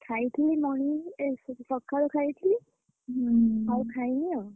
ଖାଇଥିଲି morning ଏ sorry ସକାଳେ ଖାଇଥିଲି, ଆଉ ଖାଇନି ଆଉ।